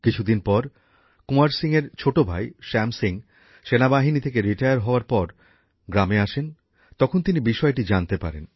কিছুদিন পর কুঁওয়ার সিংয়ের ছোট ভাই শ্যাম সিং সেনাবাহিনী থেকে অবসর নিয়ে হওয়ার পর গ্রামে আসেন তখন তিনি বিষয়টি জানতে পারেন